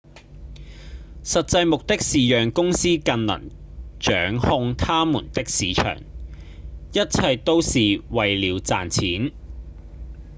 實際目的是讓公司更能掌控他們的市場；一切都是為了賺錢